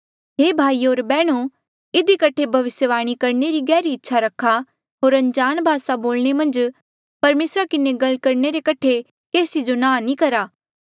हे भाईयो होर बैहणो इधी कठे भविस्यवाणी करणे री गहरी इच्छा रखा होर अनजाण भासा मन्झ परमेसरा किन्हें गल करणे रे कठे केसी जो नांह नी करा